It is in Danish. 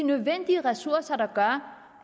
her